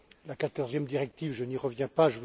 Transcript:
La quatorzième directive, je n'y reviens pas.